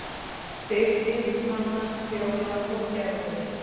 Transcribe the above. Birgir, Hanna, Fjóla og Gerður.